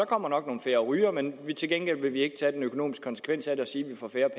kommer nok nogle færre rygere men til gengæld vil vi ikke tage den økonomiske konsekvens af det og sige at vi får færre